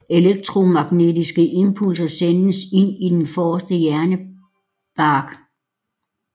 Elektromagnetiske impulser sendes ind i den forreste hjernebark